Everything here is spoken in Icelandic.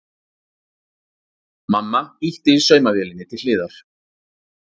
Mamma ýtti saumavélinni til hliðar.